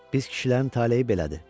Biz kişilərin taleyi belədir.